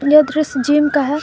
यह दृश्य जिम का है।